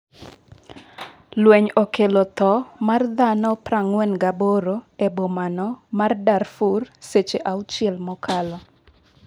lweny okelo tho mar dhano 48 e bomano ma Darfur seche auchiel mokalo